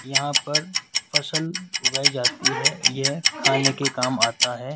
यहां पर फसल उगाई जाती है यह खाने के काम आता है।